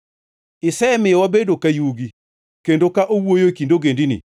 Isemiyo wabedo ka yugi kendo ka owuoyo e kind ogendini.